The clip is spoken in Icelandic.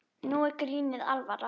Nú er grínið alvara.